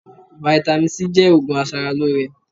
Vitamin C jẹ́ òògùn aṣaralóore